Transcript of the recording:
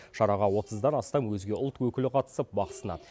шараға отыздан астам өзге ұлт өкілі қатысып бақ сынады